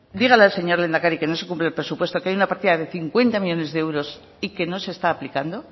dígale al señor lehendakari que no se cumple el presupuesto que hay una partida de cincuenta millónes de euros y que no se está aplicando